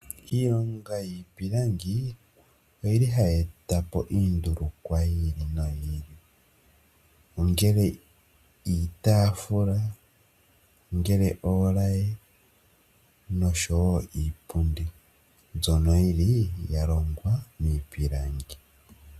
Iilonga yiipilingi ohayi eta po iindulukwa yi ili noyi ili. Ongele iitaafula, ongele oolaye noshowo iipundi mbyono ya longwa miipilangi.